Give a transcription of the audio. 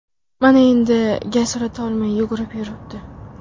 Mana endi gaz ulatolmay yugurib yuribdi.